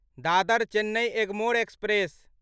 Dadar Chennai Egmore express